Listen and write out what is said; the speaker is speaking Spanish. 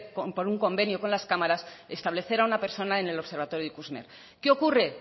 por un convenio con las cámaras establecer a una persona en el observatorio ikusmer qué ocurre